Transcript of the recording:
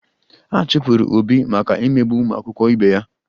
A chụpụrụ Obi maka imegbu ụmụakwụkwọ ibe ya